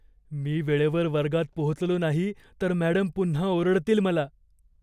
मी वेळेवर वर्गात पोहोचलो नाही तर मॅडम पुन्हा ओरडतील मला.